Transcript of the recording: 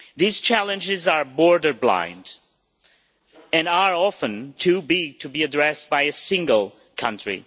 These challenges are border blind and are often too big to be addressed by a single country.